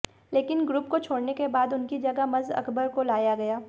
लकिन ग्रुप को छोड़ने के बाद उनके जगह मज अकबर को लाया गया